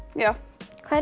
já hver